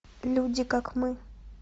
люди как мы